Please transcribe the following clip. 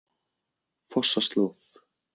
Fossaslóð